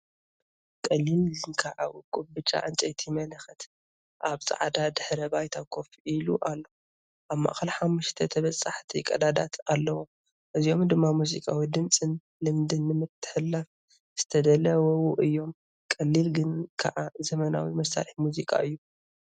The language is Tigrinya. ቀሊል ግን ከኣ ውቁብ ብጫ ዕንጨይቲ መለኸት ኣብ ጻዕዳ ድሕረ ባይታ ኮፍ ኢሉ ኣሎ። ኣብ ማእከል ሓሙሽተ ተበጻሕቲ ቀዳዳት ኣለዉ፣ እዚኦም ድማ ሙዚቃዊ ድምጽን ልምድን ንምትሕልላፍ ዝተዳለዉ እዮም። ቀሊል ግን ከኣ ዘመናዊ መሳርሒ ሙዚቃ እዩ።